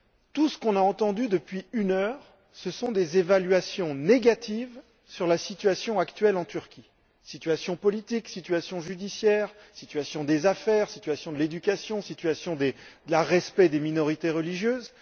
Tout ce que nous avons entendu depuis une heure, ce sont des évaluations négatives sur la situation actuelle en Turquie situation politique, situation judiciaire, situation des affaires, situation de l'éducation, situation du respect des minorités religieuses.